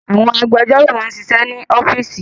Àwọn agbẹjọ́rò máa ń ṣiṣẹ́ ní ọ́fíísì